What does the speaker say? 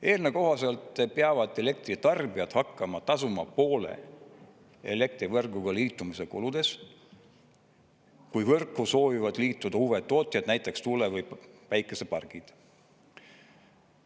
Eelnõu kohaselt peavad elektritarbijad hakkama tasuma poole elektrivõrguga liitumise kuludest, kui võrku soovivad liituda uued tootjad, näiteks tuule- ja päikesepargid.